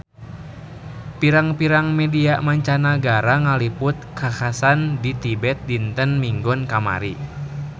Pirang-pirang media mancanagara ngaliput kakhasan di Tibet dinten Minggon kamari